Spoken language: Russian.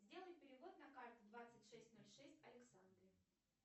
сделай перевод на карту двадцать шесть ноль шесть александре